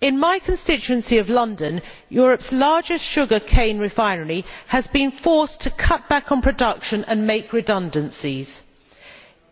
In my constituency of London, Europe's largest sugar cane refinery has been forced to cut back on production and make redundancies.